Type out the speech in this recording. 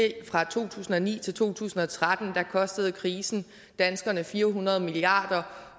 fra to tusind og ni til to tusind og tretten kostede krisen danskerne fire hundrede milliard kr